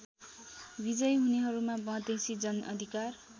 विजयी हुनेहरूमा मधेसी जनअधिकार